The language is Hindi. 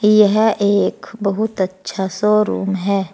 यह एक बहुत अच्छा शोरूम है।